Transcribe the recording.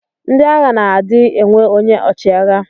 Ndi agha na adi enwe onye ọchiagha.